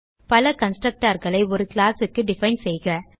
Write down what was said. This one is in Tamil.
பல constructorகளை ஒரு classக்கு டிஃபைன் செய்க